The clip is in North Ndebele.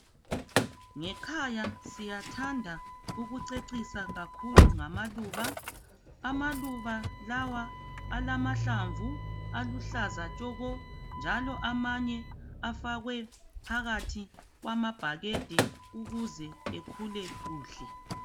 Ngekhaya siyathanda ukucecisa kakhulu ngamaluba. Amaluba lawa alamahlamvu aluhlaza tshoko njalo amanye afakwe phakathi kwamabhakede ukuze ekhule kuhle.